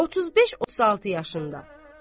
35-36 yaşında.